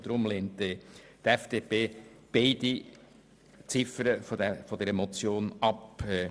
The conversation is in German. Deshalb lehnt die FDP beide Ziffern der Motion ab.